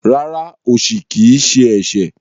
Rárá, osi kii ṣe ẹṣẹ.